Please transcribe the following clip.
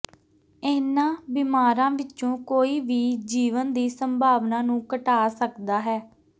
ਇਹਨਾਂ ਬਿਮਾਰਾਂ ਵਿੱਚੋਂ ਕੋਈ ਵੀ ਜੀਵਨ ਦੀ ਸੰਭਾਵਨਾ ਨੂੰ ਘਟਾ ਸਕਦਾ ਹੈ